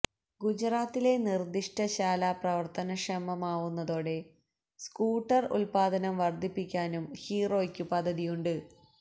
ഗുജറാത്തിലെ നിർദിഷ്ട ശാല പ്രവർത്തനക്ഷമമാവുന്നതോടെ സ്കൂട്ടർ ഉൽപ്പാദനം വർധിപ്പിക്കാനും ഹീറോയ്ക്കു പദ്ധതിയുണ്ട്